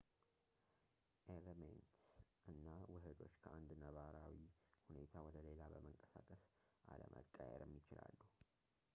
ኤሌመንትስ እና ውሕዶች ከአንድ ነባራዊ ሁኔታ ወደ ሌላ በመንቀሳቀስ አለመቀየርም ይችላሉ